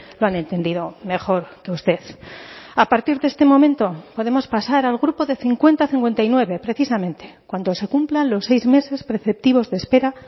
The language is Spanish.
lo han entendido mejor que usted a partir de este momento podemos pasar al grupo de cincuenta a cincuenta y nueve precisamente cuando se cumplan los seis meses preceptivos de espera